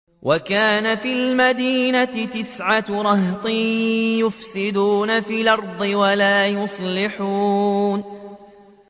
وَكَانَ فِي الْمَدِينَةِ تِسْعَةُ رَهْطٍ يُفْسِدُونَ فِي الْأَرْضِ وَلَا يُصْلِحُونَ